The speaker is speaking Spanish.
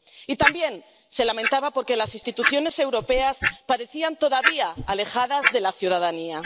Y también se lamentaba por que las instituciones europeas parecían todavía alejadas de la ciudadanía.